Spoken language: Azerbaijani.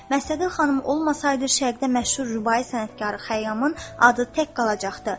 Məstəti xanım olmasaydı şərqdə məşhur rübai sənətkarı Xəyyamın adı tək qalacaqdı.